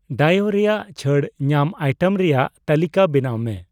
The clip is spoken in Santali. ᱰᱟᱭᱚᱩ ᱨᱮᱭᱟᱜ ᱪᱷᱟᱹᱲ ᱧᱟᱢ ᱟᱭᱴᱮᱢ ᱨᱮᱭᱟᱜ ᱛᱟᱹᱞᱤᱠᱟ ᱵᱮᱱᱟᱣ ᱢᱮ ᱾